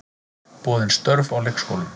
Boðin störf á leikskólum